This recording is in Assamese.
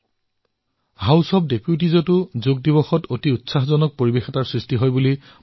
মোক কোৱা হৈছে যে হাউচ অব ডেপুটিছত ধুমধামেৰে যোগ দিৱস পালন কৰা হয়